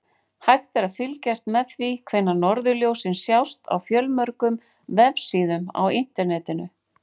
Hægt er að fylgjast með því hvenær norðurljósin sjást á fjölmörgum vefsíðum á Internetinu.